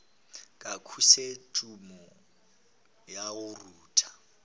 ka khosetšhumo ya go rutha